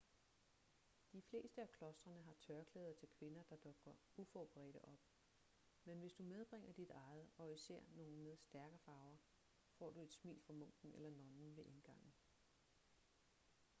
de fleste af klostrene har tørklæder til kvinder der dukker uforberedte op men hvis du medbringer dit eget og især nogle med stærke farver får du et smil fra munken eller nonnen ved indgangen